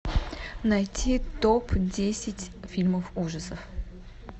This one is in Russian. найти топ десять фильмов ужасов